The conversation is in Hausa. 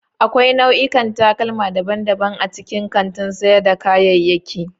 Akwai nau'ikan takalma daban-daban a cikin kantin sayar da kayayyaki.